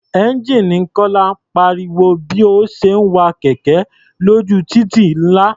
Ẹ́ńjíìnì Kọ́lá pariwo bí ó ṣe ń wa kẹ̀kẹ́ lójú títì ńlá.